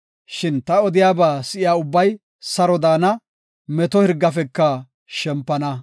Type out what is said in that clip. Shin ta odiyaba si7iya ubbay saro daana; meto hirgafeka shempana.”